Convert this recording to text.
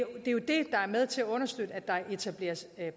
der er med til at understøtte at der etableres